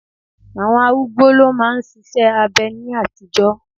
Àwọn arúgbó lo ma n ṣiṣẹ́ abẹ ní àtijọ́.